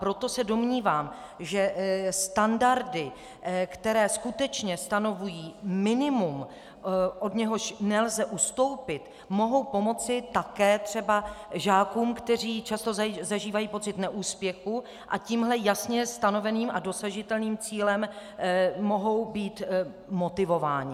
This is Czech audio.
Proto se domnívám, že standardy, které skutečně stanovují minimum, od něhož nelze ustoupit, mohou pomoci také třeba žákům, kteří často zažívají pocit neúspěchu a tímhle jasně stanoveným a dosažitelným cílem mohou být motivováni.